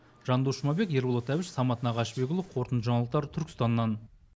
жандос жұмабек ерболат әбіш самат нағашыбекұлы қорытынды жаңалықтар түркістаннан